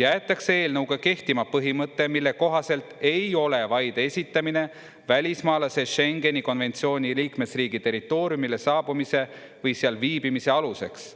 jäetakse eelnõuga kehtima põhimõte, mille kohaselt ei ole vaide esitamine välismaalase Schengeni konventsiooni liikmesriigi territooriumile saabumise või seal viibimise aluseks.